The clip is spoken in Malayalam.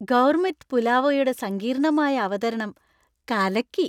ഗൗർമെറ്റ് പുലാവോയുടെ സങ്കീർണ്ണമായ അവതരണം കലക്കി.